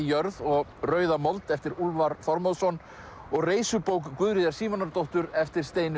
jörð og Rauða mold eftir Úlfar Þormóðsson og Reisubók Guðríðar Símonardóttur eftir Steinunni